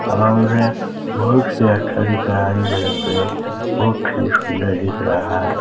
और बहुत ही अच्छा दिख रहा है हरे -भरे पेड़ बहुत ही सुंदर दिख रहा।